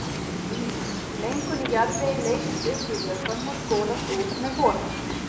Mengun í jarðvegi leysist upp í vökvanum og skolast úr með honum.